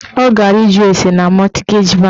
Ọ gara ịjụ ase na mọtgeji bankị